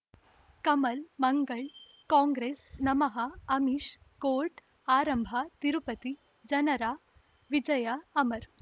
ಕಮಲ್ ಮಂಗಳ್ ಕಾಂಗ್ರೆಸ್ ನಮಃ ಅಮಿಷ್ ಕೋರ್ಟ್ ಆರಂಭ ತಿರುಪತಿ ಜನರ ವಿಜಯ ಅಮರ್